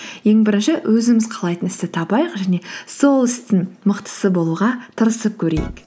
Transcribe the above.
ең бірінші өзіміз қалайтын істі табайық және сол істің мықтысы болуға тырысып көрейік